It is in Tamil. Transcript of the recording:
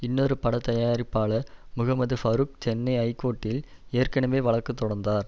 இன்னொரு பட தயாரிப்பாளர் முகமது பரூக் சென்னை ஐகோர்ட்டில் ஏற்கனவே வழக்கு தொடர்ந்தார்